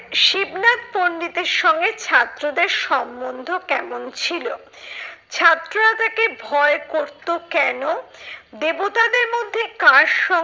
শিবনাথ পন্ডিতের সঙ্গে ছাত্রদের সম্বন্ধ কেমন ছিল? ছাত্ররা তাকে ভয় করতো কেন? দেবতাদের মধ্যে কার সঙ্গে